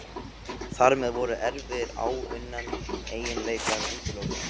Þar með voru erfðir áunninna eiginleika útilokaðar.